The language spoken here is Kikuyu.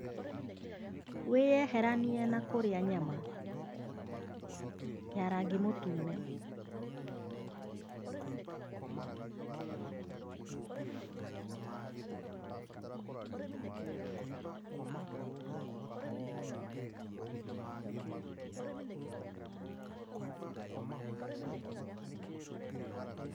Wĩyeheranie na kũrĩa nyama ya rangi mũtune.